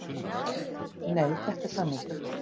Nei, þetta er sannleikur!